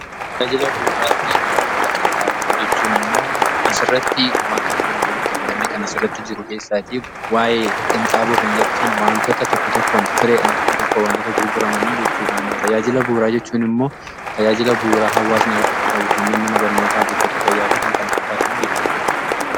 Tajaajila bu'uraa fi gurgurtaa qinxaaboo jechuun ammoo as irratti wantoota lama walitti fidamee kan as irratti jiru keessaatii waa'ee qinxaaboo kan jedhu san waantoota tokko tokkoon fireedhaan tokko tokko wantoota gurguramanii jechuudhaanii tajaajila bu'uraa jechuun immoo tajaajila bu'uraa hawwaasni argachuu qabu kannee mana barnootaa buufata fayyaa fi kan kana fakkaatan jechuu.